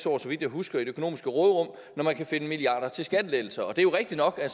år så vidt jeg husker i det økonomiske råderum når man kan finde milliarder til skattelettelser det er jo rigtigt nok at